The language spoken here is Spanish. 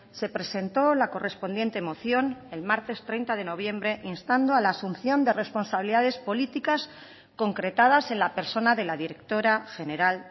se presentó la correspondiente moción el martes treinta de noviembre instando a la asunción de responsabilidades políticas concretadas en la persona de la directora general